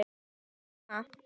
Sæmi heima!